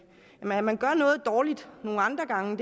at man gør noget dårligt nogle andre gange